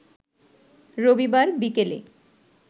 রবিবার বিকেলে